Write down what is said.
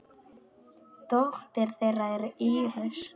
Dóttir þeirra er Íris.